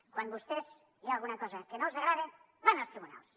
quan vostès hi ha alguna cosa que no els agrada van als tribunals